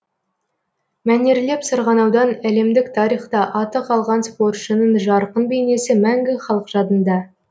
мәнерлеп сырғанаудан әлемдік тарихта аты қалған спортшының жарқын бейнесі мәңгі халық жадында